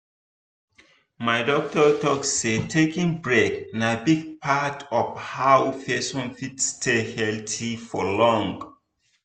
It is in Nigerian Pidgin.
my doctor talk say taking break na big part of how person fit stay healthy for long.